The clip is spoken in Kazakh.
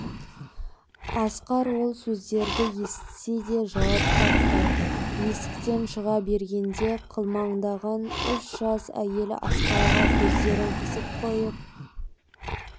асқар ол сөздерді естісе де жауап қатпай есіктен шыға бергенде қылмыңдаған үш жас әйел асқарға кездерін қысып қойып